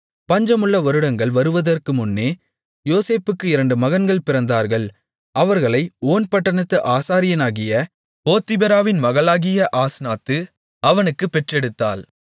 பஞ்சமுள்ள வருடங்கள் வருவதற்கு முன்னே யோசேப்புக்கு இரண்டு மகன்கள் பிறந்தார்கள் அவர்களை ஓன் பட்டணத்து ஆசாரியனாகிய போத்திபிராவின் மகளாகிய ஆஸ்நாத்து அவனுக்குப் பெற்றெடுத்தாள்